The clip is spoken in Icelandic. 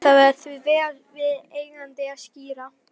Það var því vel við eigandi að skíra